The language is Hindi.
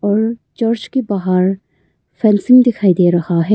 और चर्च के बाहर फैंसिंग दिखाई दे रहा है।